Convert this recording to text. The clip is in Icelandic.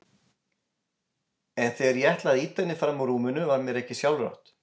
En þegar ég ætlaði að ýta henni fram úr rúminu var mér ekki sjálfrátt.